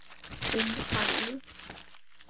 Þín Fanný.